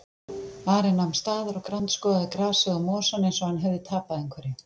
Ari nam staðar og grandskoðaði grasið og mosann eins og hann hefði tapað einhverju.